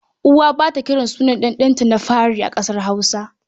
Uwa ba ta kiran sunan ɗanta na fari a ƙasar Hausa.